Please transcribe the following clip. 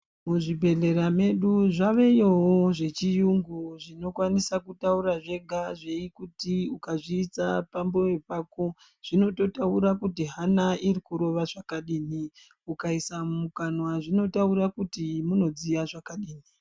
Muzvibhedhlera medu zvaveyowo zvechiyungu, zvinokwanisa kutaura zvega zveikuti, ukazviisa pamoyo pako ,zvinototaura kuti hana iri kurova zvakadini. Ukaisa mumukanwa zvinotaura kuti munodziya zvakadini.